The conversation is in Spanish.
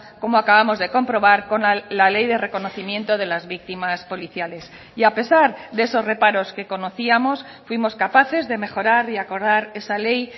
como acabamos de comprobar con la ley de reconocimiento de las víctimas policiales y a pesar de esos reparos que conocíamos fuimos capaces de mejorar y acordar esa ley